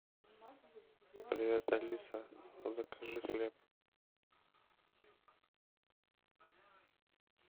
привет алиса закажи хлеб